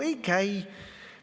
Ei käi.